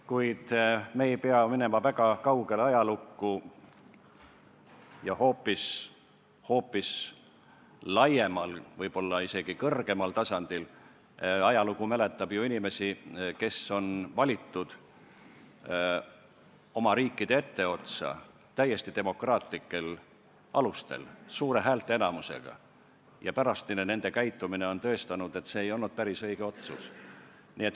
Kuid me ei pea minema väga kaugele ajalukku, selleks et meenutada, et hoopis laiemal, võib-olla isegi kõrgemal tasandil ajalugu mäletab ju inimesi, kes on valitud oma riigi etteotsa täiesti demokraatlikel alustel, suure häälteenamusega, ja nende pärastine käitumine on tõestanud, et see ei olnud päris õige otsus.